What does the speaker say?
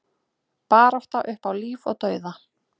Barátta upp á líf og dauða